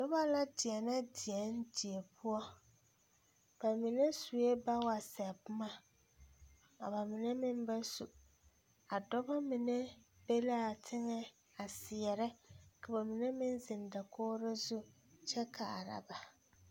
Nobɔ la deɛnɛ deɛn die poɔ ba mine suee bawaseɛ boma ka ba mine meŋ ba su a dɔbɔ mine be laa teŋɛ seɛrɛ ka ba mine meŋ zeŋ dakogro zu kyɛ kaara ba.